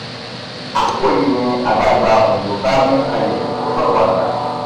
àkókò yìí ni àgbàlagbà òyìnbó bá mín kànlẹ ó sọrọ àgbà